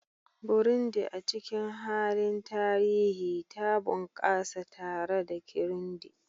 Burundi, a cikin mahallin tarihi, ta bunƙasa tare da Kirundi